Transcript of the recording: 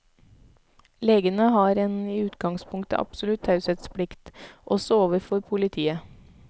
Legene har en i utgangspunktet absolutt taushetsplikt, også overfor politiet.